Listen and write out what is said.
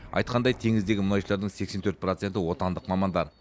айтқандай теңіздегі мұнайшылардың сексен төрт проценті отандық мамандар